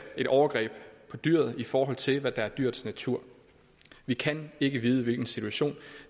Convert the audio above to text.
et overgreb på dyret i forhold til hvad der er dyrets natur vi kan ikke vide hvilken situation